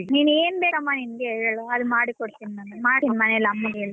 ನೀನ್ ಏನ್ ಬೇಕಮ್ಮ ನಿಂಗೆ ಹೇಳು ಅದು ಮಾಡಿ ಕೊಡ್ತೀನಿ ನಾನು ಮಾಡ್ತಿನಿ ಮನೆಯಲ್ಲಿ ಅಮ್ಮಂಗ್ ಹೇಳಿ .